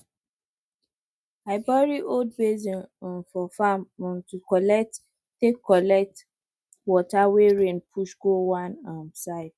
i bury old basin um for farm um to take collect take collect water wey rain push go one um side